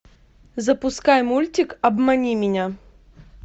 запускай мультик обмани меня